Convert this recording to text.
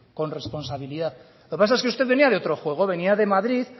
con responsabilidad lo que pasa es que usted venía de otro juego venía de madrid